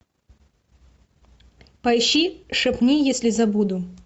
поищи шепни если забуду